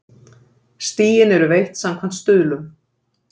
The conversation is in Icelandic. Stigin eru veitt samkvæmt stuðlum.